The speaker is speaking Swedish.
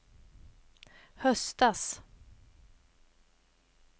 höstas